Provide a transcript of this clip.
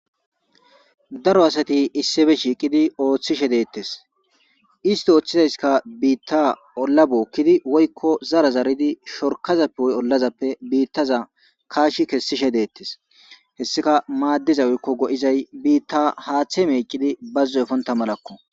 Daro asati issife shiiqidi ooththishe deettes isti ooththizayskka biitta olla bookkidi woykko zara zaridi shorkazappe oy ollazappe biittaza kaashi kessishe deettes hessika maaddizawkko go'izay biitta haaththe meeqidi bazzu efonta malakko.